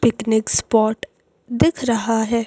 Picnic spot दिख रहा है।